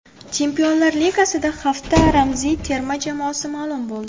Chempionlar Ligasida hafta ramziy terma jamoasi ma’lum bo‘ldi.